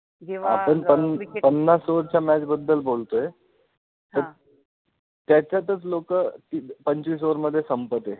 आपण पन पन्नास over च्या match बद्दल बोलतोय त्याच्यातच लोकं तील पंचवीस over मध्ये संपवतात.